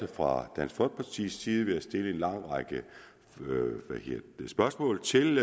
fra dansk folkepartis side været stillet en lang række spørgsmål til